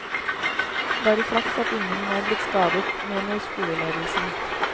Bare flaks at ingen er blitt skadet, mener skoleledelsen.